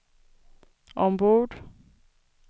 ombord